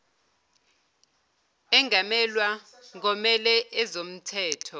angamelwa ngomele ezomthetho